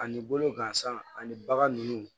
Ani bolo gansan ani baga ninnu